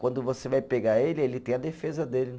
Quando você vai pegar ele, ele tem a defesa dele.